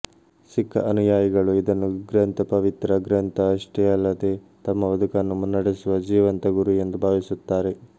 ಸಿಖ್ಖ ಅನುಯಾಯಿಗಳು ಇದನ್ನುಗ್ರಂಥಪವಿತ್ರ ಗ್ರಂಥ ಅಷ್ಟೇ ಅಲ್ಲದೇ ತಮ್ಮಬದುಕನ್ನು ಮುನ್ನಡೆಸುವ ಜೀವಂತ ಗುರು ಎಂದು ಭಾವಿಸುತ್ತಾರೆ